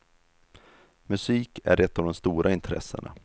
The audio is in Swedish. Musik är ett av de stora intressena.